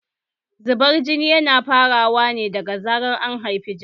Zubar jini yana farawa ne daga zarar an haifi jariri